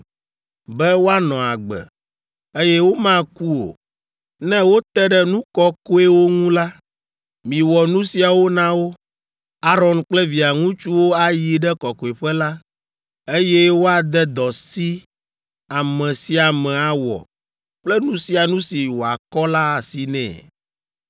Be woanɔ agbe, eye womaku o, ne wote ɖe nu kɔkɔewo ŋu la, miwɔ nu siawo na wo: Aron kple via ŋutsuwo ayi ɖe kɔkɔeƒe la, eye wòade dɔ si ame sia ame awɔ kple nu sia nu si wòakɔ la asi nɛ.